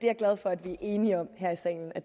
er glad for at vi er enige om her i salen at